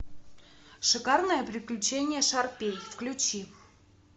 шикарное приключение шарпей включи